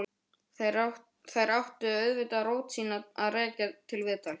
Þær áttu auðvitað rót sína að rekja til viðtals.